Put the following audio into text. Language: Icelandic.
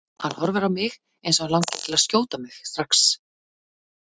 Hann horfir á mig eins og hann langi til að skjóta mig strax.